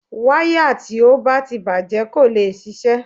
Wáyà tí ó bá ti bàjẹ́ kò lè ṣiṣẹ́.